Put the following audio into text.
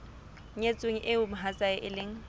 nyetsweng eo mohatsae e leng